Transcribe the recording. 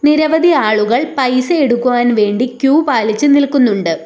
നിരവധി ആളുകൾ പൈസ എടുക്കുവാൻ വേണ്ടി ക്യൂ പാലിച്ചു നിൽക്കുന്നുണ്ട്.